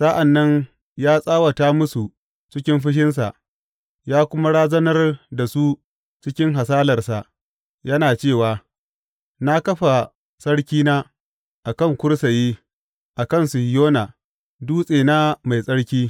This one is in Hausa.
Sa’an nan ya tsawata musu cikin fushinsa ya kuma razanar da su cikin hasalarsa, yana cewa, Na kafa Sarkina a kan kursiyi a kan Sihiyona, dutsena mai tsarki.